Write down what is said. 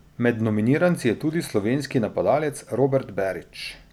Med nominiranci je bil tudi slovenski napadalec Robert Berić.